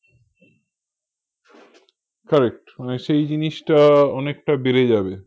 correct মানে সেই জিনিসটা অনেকটা বেড়ে যাবে